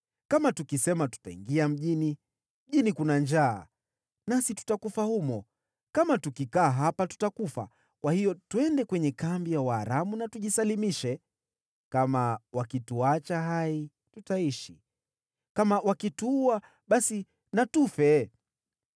Kama tukisema, ‘Tutaingia mjini,’ mjini kuna njaa, nasi tutakufa humo. Kama tukikaa hapa, tutakufa. Kwa hiyo twende kwenye kambi ya Waaramu na tujisalimishe. Kama wakituacha hai, tutaishi; kama wakituua, basi na tufe.”